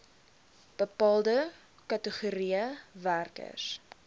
bepaalde kategorieë werkers